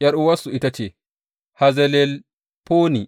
’Yar’uwarsu ita ce Hazzelelfoni.